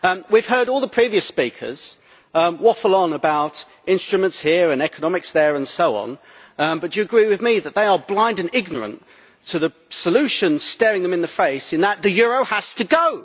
We have heard all the previous speakers waffle on about instruments here and economics there, and so on, but do you agree with me that they are blind and ignorant to the solution staring them in the face, in that the euro has to go?